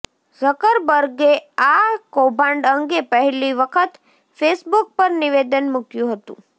ઝકરબર્ગે આ કૌભાંડ અંગે પહેલી વખત ફેસબુક પર નિવેદન મૂક્યું હતું